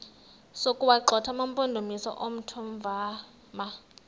sokuwagxotha amampondomise omthonvama